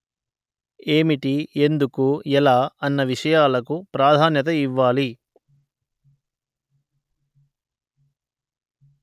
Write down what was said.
ఏమిటి ఎందుకు ఎలా అన్న విషయాలకు ప్రాధాన్యత ఇవ్వాలి